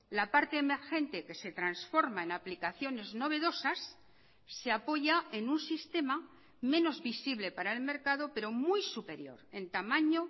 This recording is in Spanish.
la parte emergente que se transforma en aplicaciones novedosas se apoya en un sistema menos visible para el mercado pero muy superior en tamaño